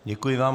Děkuji vám.